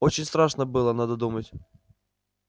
очень страшно было надо думать